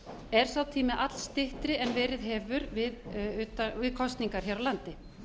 er sá tími allstyttri en verið hefur við kosningar hér á landi